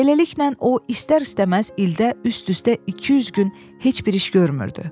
Beləliklə o istər-istəməz ildə üst-üstə 200 gün heç bir iş görmürdü.